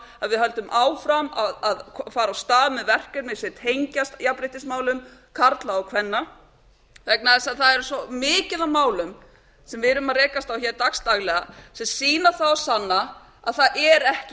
að við höldum áfram að fara af stað með verkefni sem tengjast jafnréttismálum karla og kvenna vegna þess að það er svo mikið af málum sem við erum að rekast á hér dagsdaglega sem sýna það og sanna að það er ekki